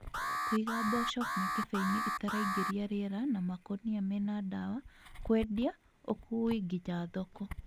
Kũiga mboco mĩkebeinĩ ĩtaraingĩria rĩera na makũnia mena dawa KWENDIA Ũkui nginya thoko